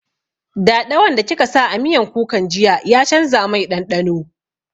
Daɗawan da kika sa a miyan kukan jiya ya canza mai ɗanɗano